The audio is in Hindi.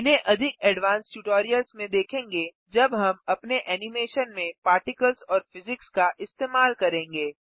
इन्हें अधिक एडवांस्ड ट्यूटोरियल्स में देखेंगे जब हम अपने एनिमेशन में पार्टिकल्स और फिज़िक्स का इस्तेमाल करेंगे